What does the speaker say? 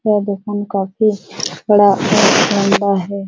यह देखेन में काफी बढ़ा और लंबा है।